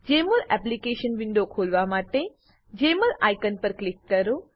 જેમોલ application window ખોલવા માટે Jmol icon પર ક્લિક કરો